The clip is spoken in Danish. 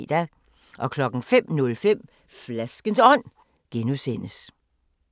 05:05: Flaskens Ånd (G)